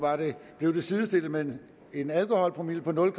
blev det sidestillet med en alkoholpromille på nul